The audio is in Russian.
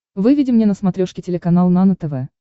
выведи мне на смотрешке телеканал нано тв